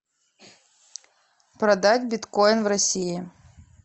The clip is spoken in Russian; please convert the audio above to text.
продать биткоин в россии